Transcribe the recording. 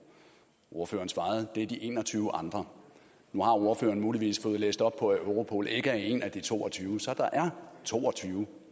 ordføreren svarede det er de en og tyve andre nu har ordføreren muligvis fået læst op på at europol ikke er en af de to og tyve så der er to og tyve